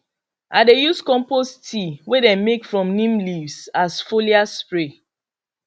i dey use compost tea wey them make from neem leaves as foliar spray